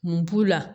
Mun b'u la